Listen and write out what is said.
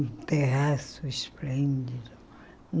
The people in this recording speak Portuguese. Um terraço esplêndido.